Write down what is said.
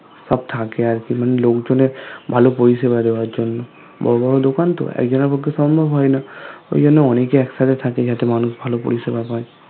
সব থাকে আরকি মানে লোকজনের ভালো পরিচয় বাড়ে ঐজন্য । বড়ো বড়ো দোকান তো একজনের পক্ষে সম্ভব হয়না ঐজন্যই অনেকেই একসাথে থাকে যাতে মানুষ ভালো পরিষেবা হয়